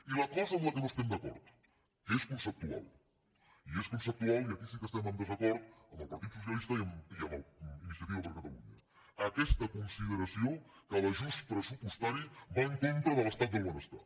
i la cosa amb què no estem d’acord que és concep·tual i és conceptual i aquí sí que estem en desacord amb el partit socialista i amb iniciativa per catalu·nya aquesta consideració que l’ajust pressupostari va en contra de l’estat del benestar